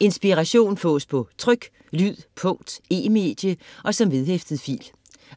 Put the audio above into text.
Inspiration fås på tryk, lyd, punkt, e-medie og som vedhæftet fil.